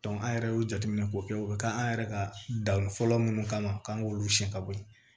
an yɛrɛ y'o jateminɛ k'o kɛ o bɛ k'an yɛrɛ ka danni fɔlɔ minnu kama k'an k'olu siɲɛ ka bɔ yen